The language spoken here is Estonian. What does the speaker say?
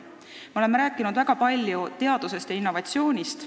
Me oleme väga palju rääkinud teadusest ja innovatsioonist.